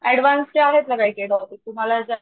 advance चे आहेत ना काही काही टॉपिक तुम्हाला जर,